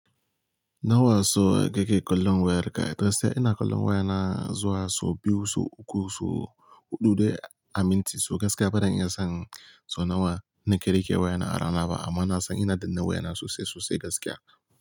Nawa so ka ke kwallon wayar ka? Gaskiya ina kwallon wayana zuwa so biyu, so uku, so huɗu dai a minti. So gaskiya bana iya san so nawa nake rike wayana a rana ba amma na san ina danna wayana sosai sosai gaskiya.